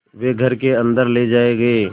वे घर के अन्दर ले जाए गए